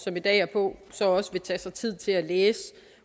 som i dag er på så også vil tage sig tid til at læse